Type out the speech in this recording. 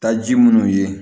Taa ji munnu ye